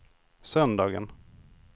söndagen